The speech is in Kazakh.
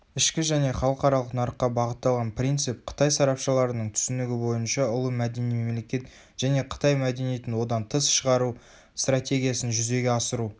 ішкі және халықаралық нарыққа бағытталған принцип қытай сарапшыларының түсінігі бойынша ұлы мәдени мемлекет және қытай мәдениетін одан тыс шығару стратегиясын жүзеге асыру